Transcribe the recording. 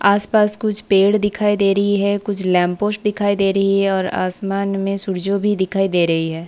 आस पास कुछ पेड़ दिखाई दे रही है कुछ लैम्पपोस्ट दिखाई दे रही है और आसमान में सुर्जो भी दिखाई दे रही है।